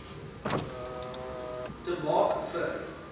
te maak vir